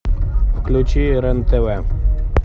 включи рен тв